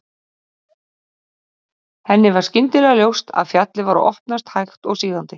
Henni varð skyndilega ljóst að fjallið var að opnast hægt og sígandi.